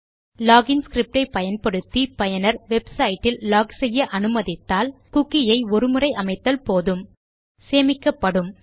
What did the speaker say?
lock in script ஐ பயன்படுத்தி பயனர் வெப்சைட் இல் லாக் செய்ய அனுமதித்தால் குக்கி ஐ ஒரு முறை அமைத்தல் போதும் சேமிக்கப்படும்